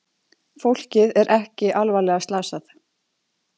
Fólkið er ekki alvarlega slasað